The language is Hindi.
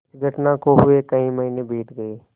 इस घटना को हुए कई महीने बीत गये